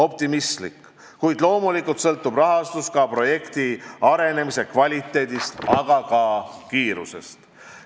– optimistlik, kuid loomulikult sõltub rahastus ka projekti arenemise kvaliteedist, samuti kiirusest.